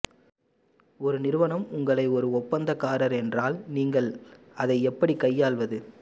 ஒரு நிறுவனம் உங்களை ஒரு ஒப்பந்தக்காரர் என்றால் நீங்கள் அதை எப்படி கையாள்வது